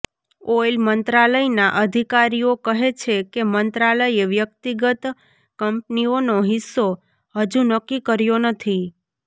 oil મંત્રાલયના અધિકારીઓ કહે છે કે મંત્રાલયે વ્યક્તિગત કંપનીઓનો હિસ્સો હજુ નક્કી કર્યો નથી